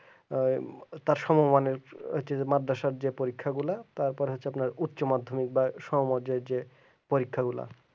ওই তার সমবয় মাদ্রাসার যে পরীক্ষাগুলো তারপর হচ্ছে তোমার উচ্চ মাধ্যমিক বা সমাজ যোজ্যের পরীক্ষাগুল